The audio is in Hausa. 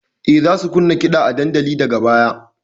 E, za su kunna kiɗa a dandalin daga baya.